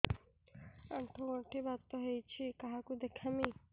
ଆଣ୍ଠୁ ଗଣ୍ଠି ବାତ ହେଇଚି କାହାକୁ ଦେଖାମି